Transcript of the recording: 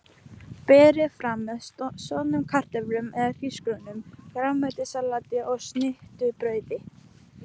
Berið fram með soðnum kartöflum eða hrísgrjónum, grænmetissalati og snittubrauði.